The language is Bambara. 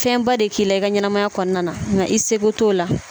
Fɛnba de k'i i ka ɲɛnamaya kɔnɔna na i seko t'o la